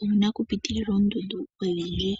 owu na okupitilila oondundu odhindji.